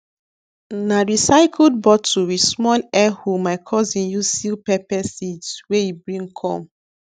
na recycled bottle with small air hole my cousin use seal pepper seeds wey e bring come